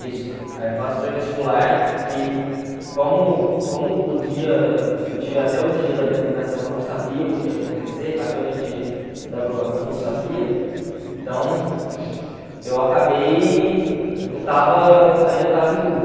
Isso, aí eu faço pré-vestibular, que como como o dia, eu tive até o dia da apresentação, eu não sabia o que ia acontecer, até o dia de da aprovação eu não sabia, então eu acabei, eu estava, ainda estava em dúvida.